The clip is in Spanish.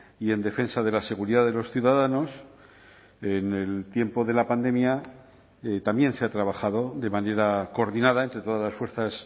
y en defensa de la seguridad de los ciudadanos en el tiempo de la pandemia también se ha trabajado de manera coordinada entre todas las fuerzas